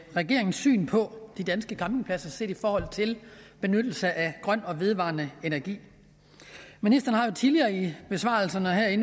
regeringens syn på de danske campingpladser set i forhold til benyttelse af grøn og vedvarende energi ministeren har jo tidligere i besvarelserne og her i